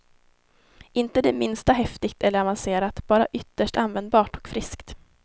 Inte det minsta häftigt eller avancerat, bara ytterst användbart och friskt.